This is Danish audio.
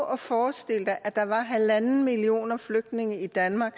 at forestille sig at der var halvanden millioner flygtninge i danmark